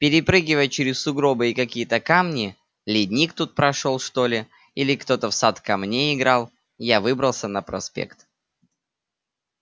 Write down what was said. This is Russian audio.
перепрыгивая через сугробы и какие-то камни ледник тут прошёл что ли или кто-то в сад камней играл я выбрался на проспект